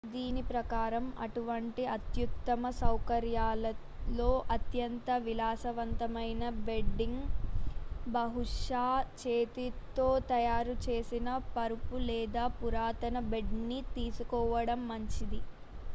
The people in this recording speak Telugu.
దీని ప్రకారం అటువంటి అత్యుత్తమ సౌకర్యాలలో అత్యంత విలాసవంతమైన బెడ్డింగ్ బహుశా చేతితో తయారు చేసిన పరుపు లేదా పురాతన బెడ్ ని తీసుకోవడం మంచిది